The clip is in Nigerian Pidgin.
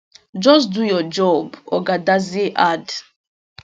just do your job oga dadzie add